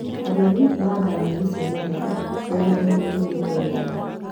Arĩmi mahandaga nyeni cia matharũ mĩgunda-inĩ ĩrĩmĩtwo wega